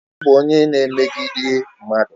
Ọ bụ onye na emegidi mmadụ